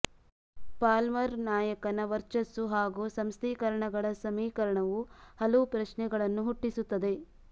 ಪಾಲ್ಮರ್ರ ನಾಯಕನ ವರ್ಚಸ್ಸು ಹಾಗು ಸಂಸ್ಥೀಕರಣಗಳ ಸಮೀಕರಣವು ಹಲವು ಪ್ರಶ್ನೆಗಳನ್ನು ಹುಟ್ಟಿಸುತ್ತದೆ